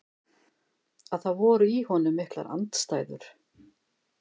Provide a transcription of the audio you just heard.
Að það voru í honum miklar andstæður.